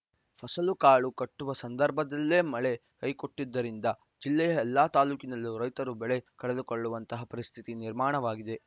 ಫಸಲು ಕಾಳು ಕಟ್ಟುವ ಸಂದರ್ಭದಲ್ಲೇ ಮಳೆ ಕೈಕೊಟ್ಟಿದ್ದರಿಂದ ಜಿಲ್ಲೆಯ ಎಲ್ಲ ತಾಲೂಕಿನಲ್ಲೂ ರೈತರು ಬೆಳೆ ಕಳೆದುಕೊಳ್ಳುವಂತಹ ಪರಿಸ್ಥಿತಿ ನಿರ್ಮಾಣವಾಗಿದೆ